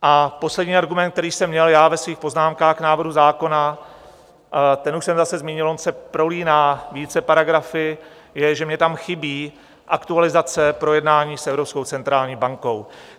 A poslední argument, který jsem měl já ve svých poznámkách k návrhu zákona, ten už jsem zase zmínil, on se prolíná více paragrafy, je, že mně tam chybí aktualizace projednání s Evropskou centrální bankou.